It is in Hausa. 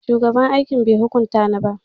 A'a, shugaban aiki bai hukunta ni ba.